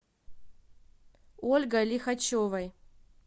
ольгой лихачевой